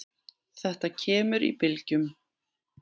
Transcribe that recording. Þetta kemur í bylgjum.